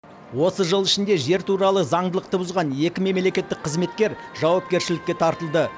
осы жыл ішінде жер туралы заңдылықты бұзған екі мемлекеттік қызметкер жауапкершілікке тартылды